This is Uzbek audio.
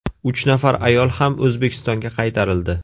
Uch nafar ayol ham O‘zbekistonga qaytarildi.